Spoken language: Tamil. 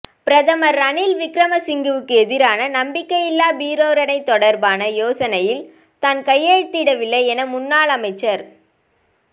பிரதமர் ரணில் விக்ரமசிங்கவுக்கு எதிரான நம்பிக்கையில்லாப் பிரேரணை தொடர்பான யோசனையில் தான் கையெழுத்திடவில்லை என முன்னாள் அமைச்சர்